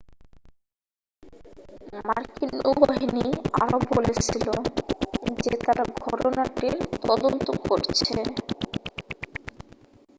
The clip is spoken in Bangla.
মার্কিন নৌবাহিনী আরও বলেছিল যে তারা ঘটনাটির তদন্ত করছে